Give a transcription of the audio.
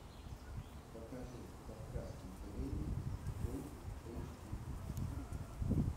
покажи кавказский пленник фулл эйч ди